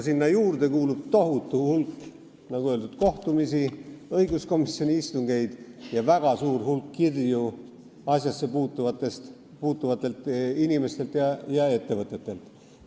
Sinna juurde kuulub, nagu öeldud, tohutu hulk kohtumisi ja õiguskomisjoni istungeid ning väga palju kirju asjassepuutuvatelt inimestelt ja ettevõtetelt.